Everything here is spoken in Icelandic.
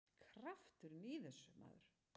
Krafturinn í þessu, maður!